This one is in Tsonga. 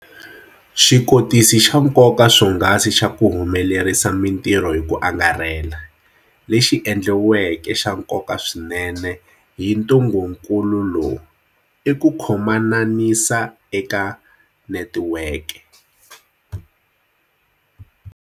Xikotisi xa nkoka swonghasi xa ku humelerisa mitirho hi ku angarhela, lexi endliweke xa nkoka swinene hi ntungukulu lowu, i ku khomananisa eka netiweke.